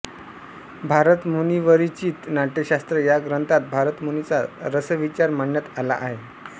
भरतमुनींरचित नाट्यशास्त्र ह्या ग्रंथात भरतमुनींचा रसविचार मांडण्यात आला आहे